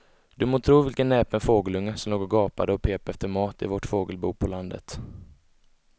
Du må tro vilken näpen fågelunge som låg och gapade och pep efter mat i vårt fågelbo på landet.